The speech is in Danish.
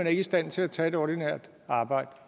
er i stand til at tage et ordinært arbejde